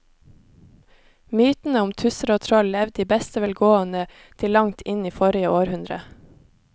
Mytene om tusser og troll levde i beste velgående til langt inn i forrige århundre.